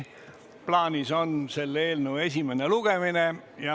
Plaanis on selle eelnõu esimene lugemine.